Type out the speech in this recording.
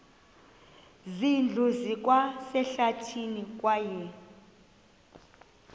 zindlu zikwasehlathini kwaye